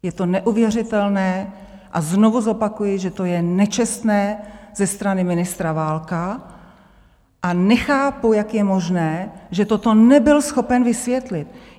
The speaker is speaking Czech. Je to neuvěřitelné a znovu zopakuji, že to je nečestné ze strany ministra Válka, a nechápu, jak je možné, že toto nebyl schopen vysvětlit.